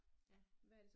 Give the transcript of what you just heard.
Ja